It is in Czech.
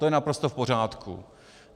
To je naprosto v pořádku.